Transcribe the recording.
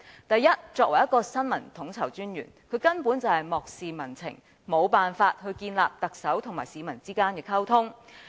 第一，身為新聞統籌專員，他完全漠視民情，無法建立特首和市民之間的溝通。